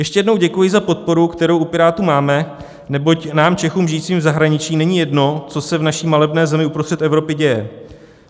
Ještě jednou děkuji z podporu, kterou u Pirátů máme, neboť nám, Čechům žijícím v zahraničí, není jedno, co se v naší malebné zemi uprostřed Evropy děje.